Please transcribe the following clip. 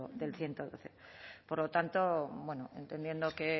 del ciento doce por lo tanto bueno entendiendo que